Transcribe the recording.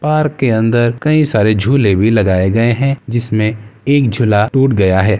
park के अंदर कई सारे झूले भी लगाए गए हैं जिसमें एक झूला टूट गया है |